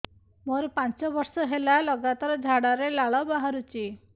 ମୋରୋ ପାଞ୍ଚ ବର୍ଷ ହେଲା ଲଗାତାର ଝାଡ଼ାରେ ଲାଳ ବାହାରୁଚି